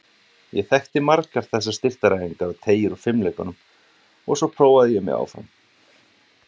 Ég þekkti margar þessar styrktaræfingar og teygjur úr fimleikunum og svo prófaði ég mig áfram.